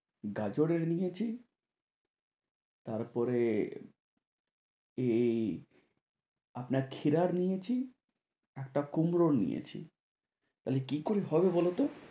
গাজরের নিয়েছি, তারপরে এই আপনার ক্ষীরার নিয়েছি, একটা কুমড়ো নিয়েছি। তাহলে কি করে হবে বলোতো?